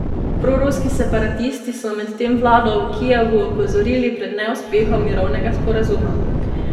Proruski separatisti so medtem vlado v Kijevu opozorili pred neuspehom mirovnega sporazuma.